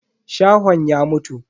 Shahon ya mutu.